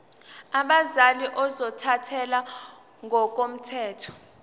abazali ozothathele ngokomthetho